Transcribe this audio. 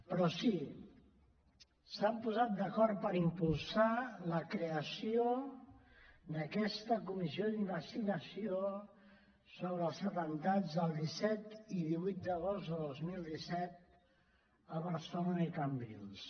però sí s’han posat d’acord per impulsar la creació d’aquesta comissió d’investigació sobre els atemptats del disset i divuit d’agost de dos mil disset a barcelona i cambrils